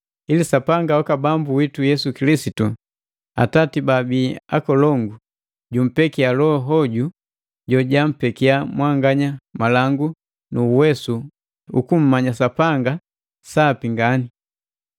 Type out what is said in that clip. ili Sapanga waka Bambu witu Yesu Kilisitu, Atati baabii akolongu, jumpekiya loho hoju jojampekiya mwanganya malangu nu uwesu ukummanya Sapanga sapi ngani.